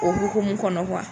O hukumu kɔnɔ